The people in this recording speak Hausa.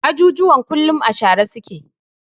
Ajujuwan kullum a share su ke.